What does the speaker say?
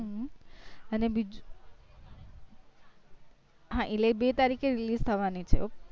અને બીજું હા એટલે બે તરીકે release થવાની છે